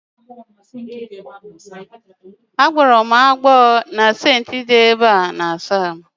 A gboro m agbo na sinki ulo iwu ahu